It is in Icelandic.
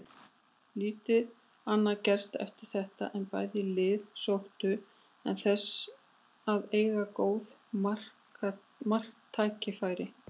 Lítið annað gerðist eftir þetta en bæði lið sóttu en þess að eiga góð marktækifæri.